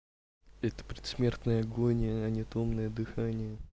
это предсмертная агония а не томное дыхание